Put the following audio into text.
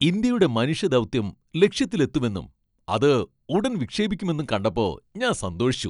ഇന്ത്യയുടെ മനുഷ്യ ദൗത്യം ലക്ഷ്യത്തിലെത്തുമെന്നും ,അത് ഉടൻ വിക്ഷേപിക്കുമെന്നും കണ്ടപ്പോ ഞാൻ സന്തോഷിച്ചു.